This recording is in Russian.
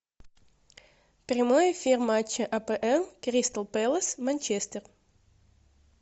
прямой эфир матча апл кристал пэлас манчестер